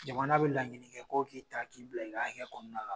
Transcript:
Jamana bɛ laɲini kɛ ko k'i ta k'i bila i k'a hakɛ kɔnɔna la.